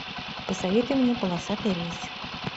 посоветуй мне полосатый рейс